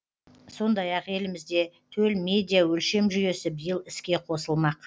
сондай ақ елімізде төл медиа өлшем жүйесі биыл іске қосылмақ